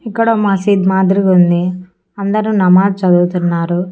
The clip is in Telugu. ఇక్కడ మసీద్ మాదిరి ఉంది అందరూ నమాజ్ చదువుతున్నారు.